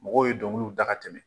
Mɔgɔw ye dɔnkiliw da ka tɛmɛn.